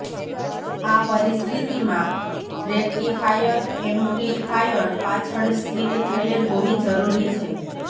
આ પરિસ્થિતિમાં rectifier amplifier પાછળ સ્થિત થયેલ હોવી જરૂરી છે